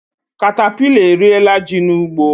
Katapila eriela ji n'ugbo